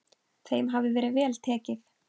Þeim hafi verið vel tekið.